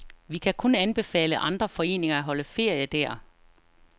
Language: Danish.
Vi kan kun anbefale andre foreninger at holde ferie der.